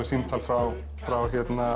símtal frá frá